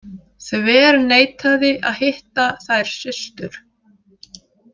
Þverneitaði að hitta þær systur.